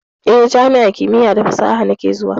Eh, jami'ar kimiya da fasaha nake zuwa.